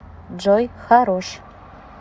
джой хорош